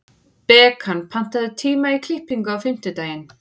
Bekan, pantaðu tíma í klippingu á fimmtudaginn.